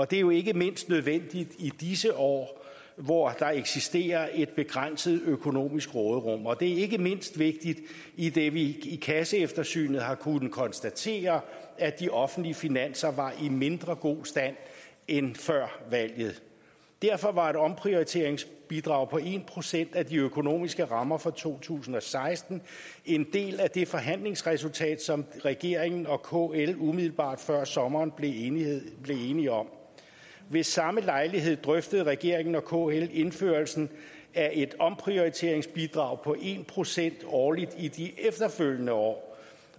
det er jo ikke mindst nødvendigt i disse år hvor der eksisterer et begrænset økonomisk råderum og det er ikke mindst vigtigt idet vi i kasseeftersynet har kunnet konstatere at de offentlige finanser var i mindre god stand end før valget derfor var et omprioriteringsbidrag på en procent af de økonomiske rammer for to tusind og seksten en del af det forhandlingsresultat som regeringen og kl umiddelbart før sommeren blev enige enige om ved samme lejlighed drøftede regeringen og kl indførelsen af et omprioriteringsbidrag på en procent årligt i de efterfølgende år